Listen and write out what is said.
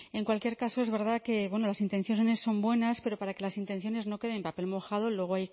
en cualquier caso es verdad que las intenciones son buenas pero para que las intenciones no queden en papel mojado luego